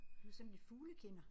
Du sådan en fuglekender